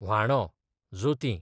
व्हाणो, जोतीं